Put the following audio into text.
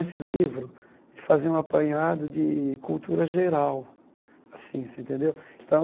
Esse livro fazia um apanhado de cultura geral. Assim você entendeu então